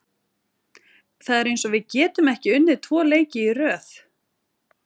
Það er eins og við getum ekki unnið tvo leiki í röð.